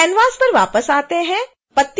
canvas पर वापस आते हैं